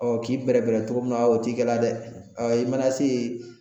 Ɔ k'i bɛrɛ bɛrɛ togo min na o t'i kɛlɛ dɛ, ɔ i mana se yen